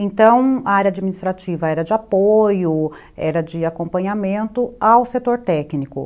Então, a área administrativa era de apoio, era de acompanhamento ao setor técnico.